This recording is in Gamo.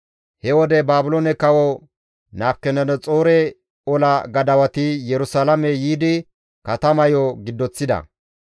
He wode Baabiloone kawo Nabukadanaxoore ola gadawati Yerusalaame yiidi katamayo giddoththida.